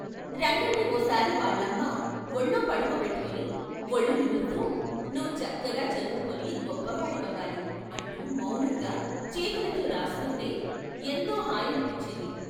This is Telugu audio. రంగణ్ణి ఓ సారి వాళ్ళమ్మ వొళ్ళో పడుకోబెట్టుకుని వొళ్ళు నిమురుతూ 'నువ్వు చక్కగా చదువుకుని గొప్పవాడి అవ్వాలి' అంటూ మౌనంగా చేతులతో రాస్తుంటే ఎంతో హాయనిపించింది.